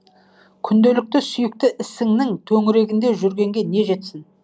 күнделікті сүйікті ісіңнің төңірегінде жүргенге не жетсін